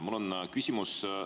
Mul on küsimus.